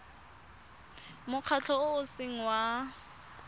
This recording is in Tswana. mokgatlho o o seng wa